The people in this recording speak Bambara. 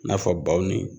I n'a fɔ baw ni